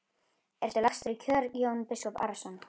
Ertu lagstur í kör Jón biskup Arason?